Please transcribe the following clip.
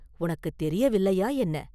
உனக்குத் தெரியவில்லையா, என்ன?